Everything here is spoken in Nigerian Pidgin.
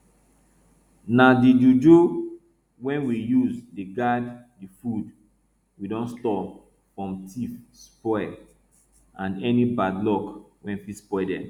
na di juju wey we use dey guard di food we don store from tiff spoil and any bad luck wey fit spoil dem